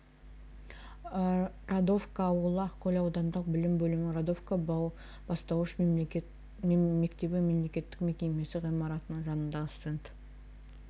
радовка ауылы ақкөл аудандық білім бөлімінің радовка бастауыш мектебі мемлекеттік мекемесі ғимаратының жанындағы стенд